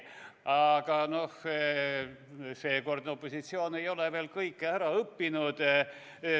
Aga seekordne opositsioon ei ole veel kõike ära õppinud.